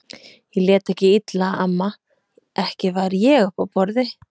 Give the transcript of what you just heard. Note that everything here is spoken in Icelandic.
Ég lét ekki illa amma, ekki var ég uppi á borði